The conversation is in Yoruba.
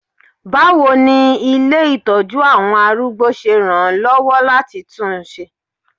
Báwo ni ilé ìtọ́jú àwọn arúgbó ṣe ràn án lọ́wọ́ láti tún un ṣe?